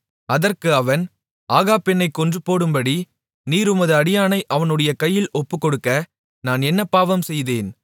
அதற்கு அவன் ஆகாப் என்னைக் கொன்றுபோடும்படி நீர் உமது அடியானை அவனுடைய கையில் ஒப்புக்கொடுக்க நான் என்ன பாவம் செய்தேன்